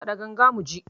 Kaɗa ganga mu ji